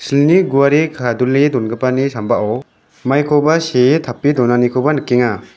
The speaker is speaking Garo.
ilni guare kadule dongipani sambao maikoba see tape donanikoba nikenga.